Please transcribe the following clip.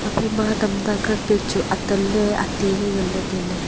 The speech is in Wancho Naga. ema tamta capet chu atanley ateley nganley tailey.